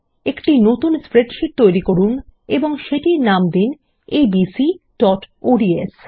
একটি নতুন স্প্রেডশীট তৈরি করুন এবং সেটির নাম দিন abcঅডস